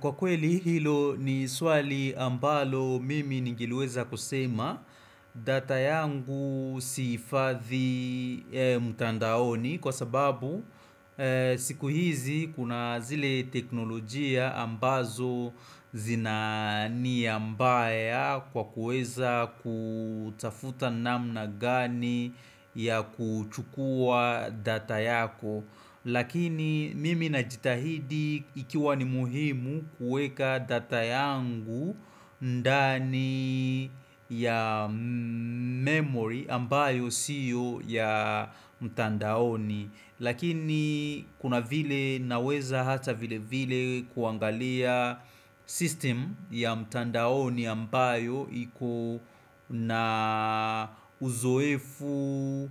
Kwa kweli hilo ni swali ambalo mimi ningeleweza kusema data yangu sihifathi mtandaoni kwa sababu siku hizi kuna zile teknolojia ambazo zina nia mbaya kwa kuweza kutafuta namna gani ya kuchukua data yako. Lakini mimi najitahidi ikiwa ni muhimu kuweka data yangu ndani ya memory ambayo siyo ya mtandaoni. Lakini kuna vile naweza hata vile vile kuangalia system ya mtandaoni ambayo iko na uzoefu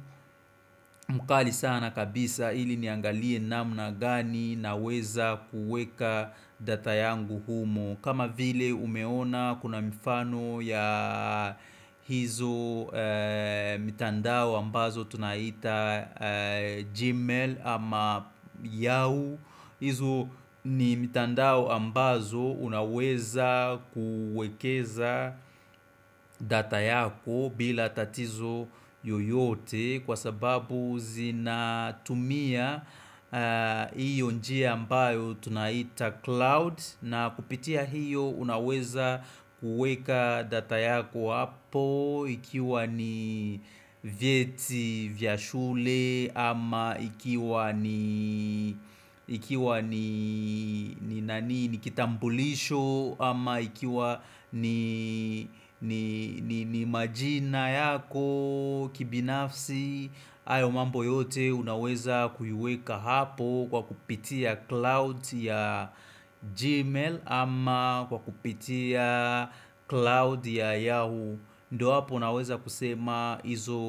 mkali sana kabisa ili niangalie namna gani na weza kuweka data yangu humo kama vile umeona kuna mifano ya hizo mitandao ambazo tunaita gmail ama yao hizo ni mitandao ambazo unaweza kuwekeza data yako bila tatizo yoyote Kwa sababu zinatumia iyo njia ambayo tunaita cloud na kupitia hiyo unaweza kuweka data yako hapo Ikiwa ni vyeti vya shule ama ikiwa ni kitambulisho ama ikiwa ni majina yako kibinafsi hayo mambo yote unaweza kuiweka hapo kwa kupitia cloud ya Gmail ama kwa kupitia cloud ya Yahoo ndo hapo unaweza kusema izo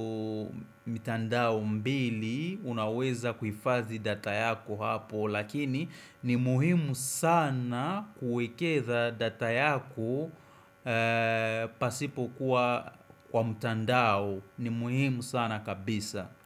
mitandao mbili unaweza kuhifathi data yako hapo Lakini ni muhimu sana kuwekeza data yako pasipo kuwa kwa mtandao ni muhimu sana kabisa.